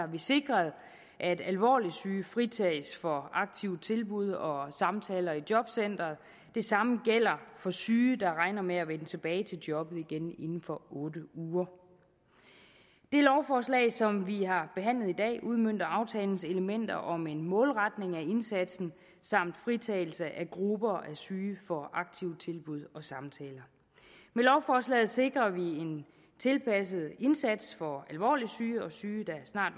vi sikret at alvorligt syge fritages for aktive tilbud og samtaler i jobcenteret det samme gælder for syge der regner med at vende tilbage til jobbet igen inden for otte uger det lovforslag som vi har behandlet i dag udmønter aftalens elementer om en målretning af indsatsen samt fritagelse af grupper af syge for aktive tilbud og samtaler med lovforslaget sikrer vi en tilpasset indsats over for alvorligt syge og syge der snart